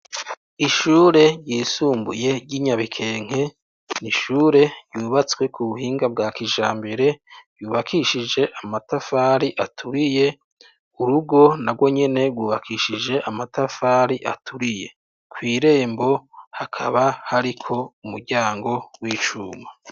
Ishuri ryisumbuye ryi Nyarukenke ishuri ryubatse kijambere ryubakishije amatafari aturiye urugo nagonyene rwubakishije amatafari aturiye kwirembo hakaba hariko umuryango w'icuma.